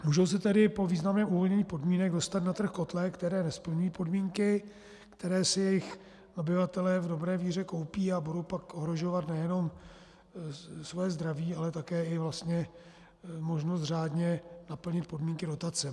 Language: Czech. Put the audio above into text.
Můžou se tedy po významném uvolnění podmínek dostat na trh kotle, které nesplňují podmínky, které si jejich obyvatelé v dobré víře koupí, a budou pak ohrožovat nejenom svoje zdraví, ale také i vlastně možnost řádně naplnit podmínky dotace.